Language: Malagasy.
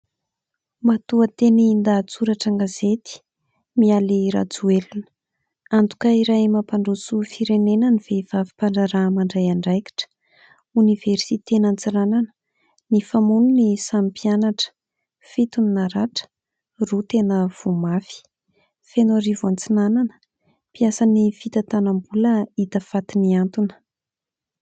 Matoantenin-dahatsoratra gazety Mialy Rajoelina antoka iray mampandroso firenena ny vehivavy mpandraraha mandray andraikitra, Oniversiten' i Antsiranana nifamono ny samy mpianatra, fito ny naratra, roa tena voamafy. Fenoarivo Antsinanana mpiasan' ny fitatanam-bola hita faty nihantona.